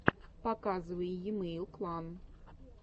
показывай емэйл клан